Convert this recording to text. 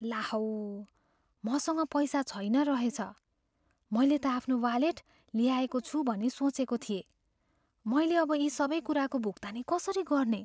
ला हौ! मसँग पैसा छैन रहेछ, मैले त आफ्नो वालेट ल्याएको छु भनी सोचेको थिएँ। मैले अब यी सबै कुराको भुक्तानी कसरी गर्ने?